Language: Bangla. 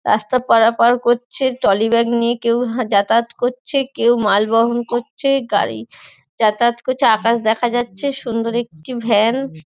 রাস্তা পারাপার করছে। ট্রলি ব্যাগ নিয়ে কেউ যাতায়াত করছে। কেউ মাল বহন করছে। গড়ি যাতায়াত করছে আকাশ দেখা যাচ্ছে সুন্দর একটি ভ্যান --